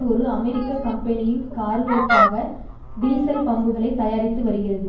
ஒரு அமெரிக்க கம்பெனியின் கார்களுக்காக டீசல் பம்புகளை தயாரித்து வருகிறது